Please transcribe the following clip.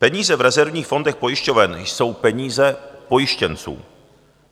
Peníze v rezervních fondech pojišťoven jsou peníze pojištěnců.